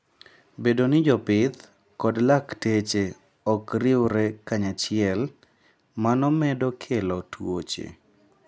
Bedo ni jopith kod lakteche ok riwre kanyachiel, mano medo kelo tuoche.